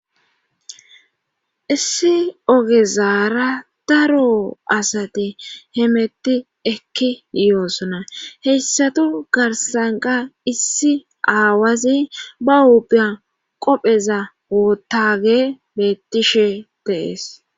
issi ogezaara daro asati hemetti ekki yoosona heyssatu garsanqa issi aawazi ba ubiyan qopheza woottage bettishe de'es